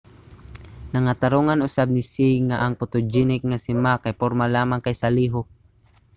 nangatarongan usab ni hsieh nga ang photogenic nga si ma kay porma lamang kaysa lihok